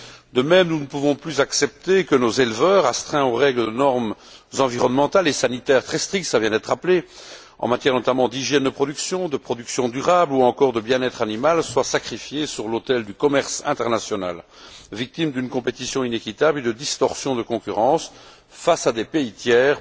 De même, nous ne pouvons plus accepter que nos éleveurs, astreints aux règles de normes environnementales et sanitaires très strictes cela vient d'être rappelé en matière notamment d'hygiène de production, de production durable ou encore de bien être animal, soient sacrifiés sur l'autel du commerce international, victimes d'une compétition inéquitable et de distorsions de concurrence face à des pays tiers